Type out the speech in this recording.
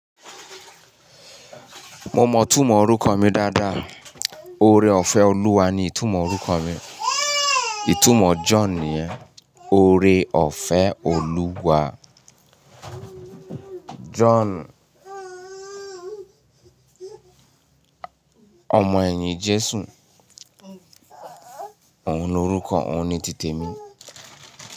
Mo mọ ìtumọ̀ orúkọ mi dáadáa. Ore-ọ̀fẹ́ Olúwa ni ìtumọ̀ orúkọ mi. Ìtumọ̀ John ni ore-ọ̀fẹ́ Olúwa. John, ọmọ ẹ̀yìn Jésù. Ohun ni orúkọ, òun ni títẹ̀ mí.